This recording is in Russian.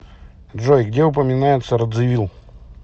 джой где упоминается радзивил